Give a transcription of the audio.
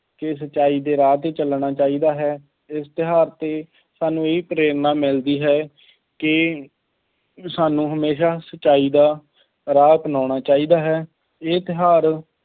ਕਿ ਸੱਚਾਈ ਦੇ ਰਾਹ 'ਤੇ ਚੱਲਣਾ ਚਾਹੀਦਾ ਹੈ, ਇਸ ਤਿਉਹਾਰ 'ਤੇ ਸਾਨੂੰ ਇਹ ਪ੍ਰੇਰਨਾ ਮਿਲਦੀ ਹੈ ਕਿ ਸਾਨੂੰ ਹਮੇਸ਼ਾ ਸੱਚਾਈ ਦਾ ਰਾਹ ਅਪਨਾਉਣਾ ਚਾਹੀਦਾ ਹੈ। ਇਹ ਤਿਉਹਾਰ